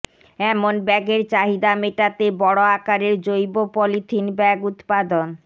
এমন ব্যাগের চাহিদা মেটাতে বড় আকারের জৈব পলিথিন ব্যাগ উৎপাদন